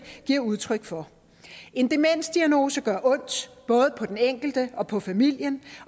giver udtryk for en demensdiagnose gør ondt både på den enkelte og på familien